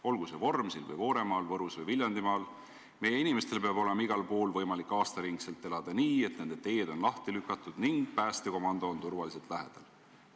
"Olgu see Vormsil või Vooremaal, Võrus või Viljandimaal – meie inimestel peab olema igal pool võimalik aastaringselt elada nii, et nende teed on lahti lükatud ning päästekomando on turvaliselt lähedal.